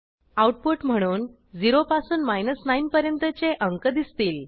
output म्हणून 0 पासून 9 पर्यंतचे अंक दिसतील